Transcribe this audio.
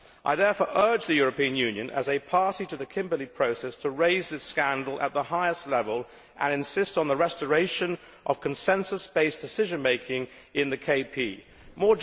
I therefore urge the European Union, as a party to the Kimberley Process, to raise this scandal at the highest level and insist on the restoration of consensus based decision making in the Kimberley Process.